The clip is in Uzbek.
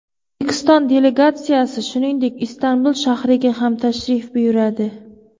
O‘zbekiston delegatsiyasi, shuningdek, Istanbul shahriga ham tashrif buyuradi.